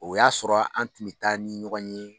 O y'a sɔrɔ an tun bɛ taa ni ɲɔgɔn ye